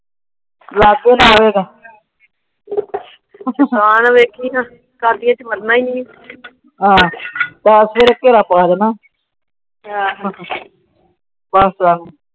ਚਾਰ ਚੁਫੇਰੇ ਘੇਰਾ ਪਾ ਦੇਣਾ।